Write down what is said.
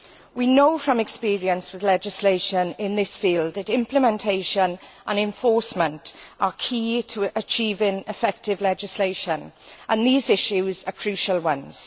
We know from experience with legislation in this field that implementation and enforcement are key to achieving effective legislation, and these issues are crucial ones.